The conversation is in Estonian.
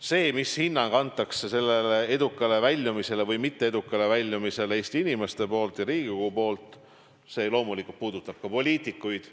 See, mis hinnang antakse sellele edukale või mitteedukale väljumisele Eesti inimeste ja Riigikogu poolt, loomulikult puudutab ka poliitikuid.